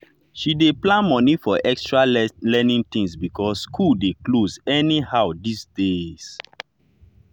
she dey plan money for extra learning things because school dey close anyhow these days.